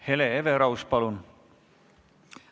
Hele Everaus, palun!